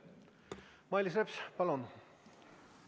Mailis Reps, palun!